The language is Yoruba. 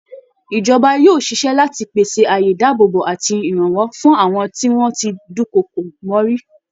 Ìjọba yóò ṣiṣẹ́ láti pèsè àyè ìdáàbòbò àti ìrànwọ́ fún àwọn tí wọ́n ti dúnkokò mọ́ rí